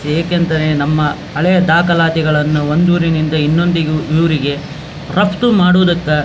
ಏಕೆಂತನ್ ನಮ್ಮ ಹಳೆಯ ದಾಖಲಾತಿಗಳನ್ನು ಒಂದು ಊರಿನಿಂದ ಇನ್ನೊಂದಿಗು ಊರಿಗೆ ರಫ್ತು ಮಾಡುವುದಕ್ಕ --